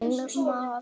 Einn maður lést.